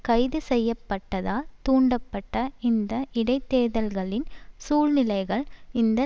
கைது செய்ய பட்டதால் தூண்டப்பட்ட இந்த இடைதேர்தல்களின் சூழ்நிலைகள் இந்த